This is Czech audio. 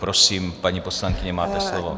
Prosím, paní poslankyně, máte slovo.